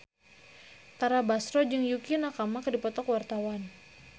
Tara Basro jeung Yukie Nakama keur dipoto ku wartawan